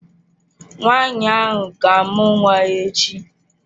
Nwaanyị ahụ ga-amụ nwa ya echi